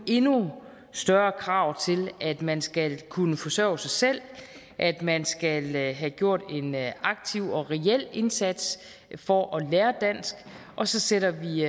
endnu større krav til at man skal kunne forsørge sig selv at man skal have gjort en aktiv og reel indsats for at lære dansk og så sætter vi